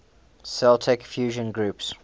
celtic fusion groups